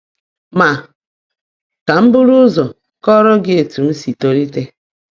Ma ka m buru ụzọ kọọrọ gị etu m si tolite.